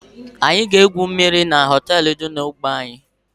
Anyị ga egwu mmiri echi n'hoteelu dị n'ogbe anyị